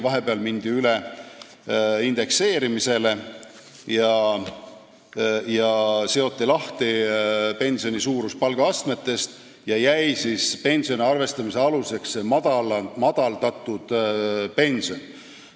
Vahepeal mindi üle indekseerimisele, pensioni suurus seoti palgaastmetest lahti ja siis jäi pensioni arvestamise aluseks see madaldatud pension.